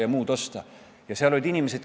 Aga möödas on ju 27 aastat!